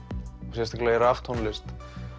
sérstaklega í raftónlist